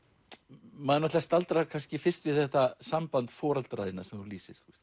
maður staldrar kannski fyrst við þetta samband foreldra þinna sem þú lýsir